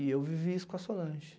E eu vivi isso com a Solange.